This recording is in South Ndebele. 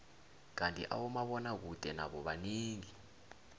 kandi abomabona kude nabo banengi